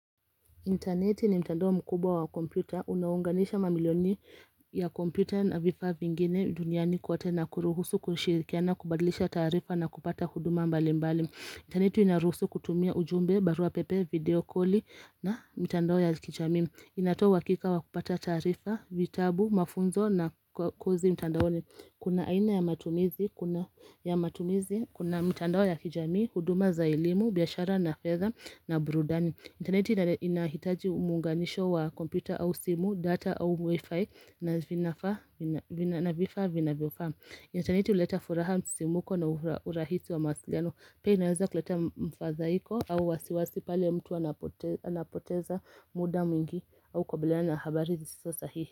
Intaneti ni mtandao mkubwa wa kompyuta. Unaunganisha mamilioni ya kompyuta na vifaa vingine duniani kote na kuruhusu kushirikiana na kubadilisha tarifaa na kupata huduma mbali mbali. Intaneti inaruhusu kutumia ujumbe, barua pepe, video call na mitandao ya kijamii. Inatoa uhakika wa kupata tarifa, vitabu, mafunzo na kozi mtandaoni kuna aina ya matumizi, kuna mitandoo ya kijamii, huduma za elimu, biashara na fedha na burudani. Intaneti inahitaji uunganisho wa kompyuta au simu, data au wifi na vinafaa vifaa vinavyofaa. Intaneti uleta furaha msisimko na urahisi wa mawasiliano. Pia inaweza kuleta mfadhaiko au wasiwasi pale mtu anapoteza muda mwingi au kukabiliana na habari zisizo sahihi.